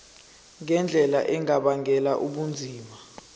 ngendlela engabangela ubunzima